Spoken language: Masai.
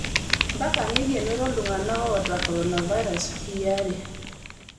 Mpaka neikenoroo iktung'ana oota korona virus wikii aare